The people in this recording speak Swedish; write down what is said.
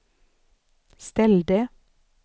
ställde